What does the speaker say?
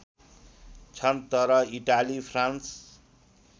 छन् तर Italy France